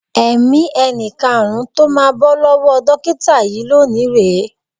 Ẹ̀mí ẹni karùn-ún tó máa bọ́ lọ́wọ́ dókíta yìí lónìí rè é.